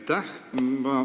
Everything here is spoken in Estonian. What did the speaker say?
Aitäh!